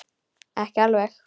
Ekki alveg.